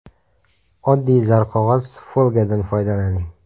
Oddiy zarqog‘oz (folga)dan foydalaning.